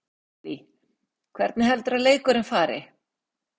Lillý: Hvernig heldurðu að leikurinn fari?